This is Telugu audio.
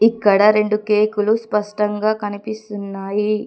ఇక్కడ రెండు కేకులు స్పష్టంగా కనిపిస్తున్నాయి.